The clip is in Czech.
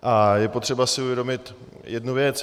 A je potřeba si uvědomit jednu věc.